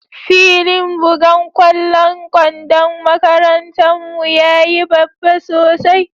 Filin bugan kwallon kwandon makarantan mu ya yi babba sosai.